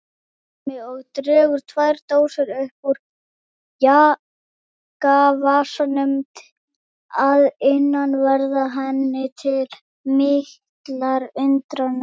spyr Hemmi og dregur tvær dósir upp úr jakkavasanum að innanverðu henni til mikillar undrunar.